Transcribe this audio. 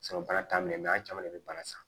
bana t'a minɛ an caman de bɛ bana san